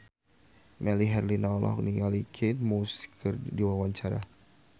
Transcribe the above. Melly Herlina olohok ningali Kate Moss keur diwawancara